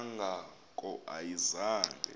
kanga ko ayizange